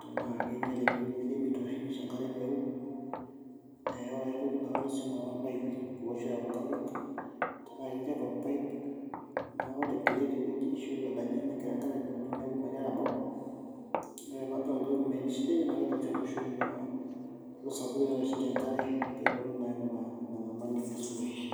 tenaa kinyiale inewueji emeter oshi nisho enkare meeu naa kaitoki sii alo aing'uraa irpaipi kulo oshi ooyau nkariak tenaa ketii ake orpaip otigile tewueji ashu otadanye negira enkare aibukore neeku mebau ore pee adol ajo metii shida ine naidim atooshoki lelo oosh enkare naa pee eponuu naa aing'uraa ina nyamali neponu aisuluhisha.